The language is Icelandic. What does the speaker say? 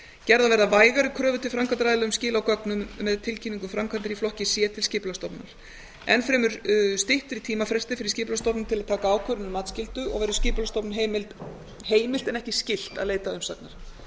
gerðar verða vægari kröfur til framkvæmdaraðila um skil á gögnum með tilkynningu framkvæmdar í flokki c til skipulagsstofnunar enn fremur styttri tímafrestir fyrir skipulagsstofnun til að taka ákvörðun um matsskyldu og verður skipulagsstofnun heimilt en ekki skylt að leita umsagna